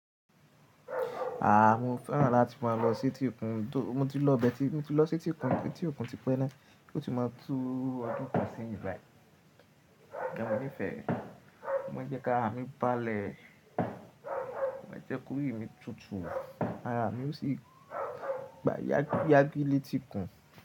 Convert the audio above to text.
Aah! Mo fẹ́ràn láti máa lọ sí etí òkun, mo ti lọ bẹ́ẹ̀ tí mo ti lọ sí etí òkun, etí òkun ti pẹ́ na, ó ti máa tú ọdún kan seyín bài sugbon mo nifẹ́ re, ó máa ń jẹ́ kárà mì balẹ̀, ó máa ń jẹ́ korí mi tutù, ara mi yóò sì gba yá gílé tí kun.